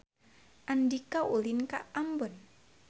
Andika ulin ka Ambon